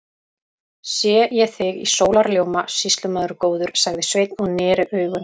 Sé ég þig í sólarljóma, sýslumaður góður, sagði Sveinn og neri augun.